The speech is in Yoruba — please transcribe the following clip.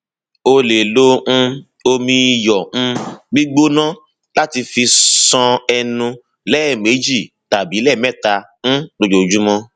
o lè lo um omi iyọ um gbígbóná láti fi ṣan ẹnu lẹẹmejì tàbí lẹẹmẹta um lójúmọ